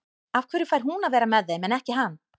Af hverju fær hún að vera með þeim en ekki hann?